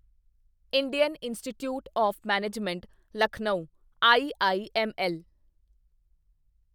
Indian institute of management Lucknow IIML